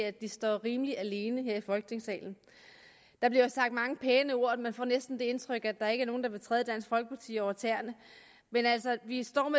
at de står rimelig alene her i folketingssalen der bliver sagt mange pæne ord og man får næsten det indtryk at der ikke er nogen der vil træde dansk folkeparti over tæerne men vi står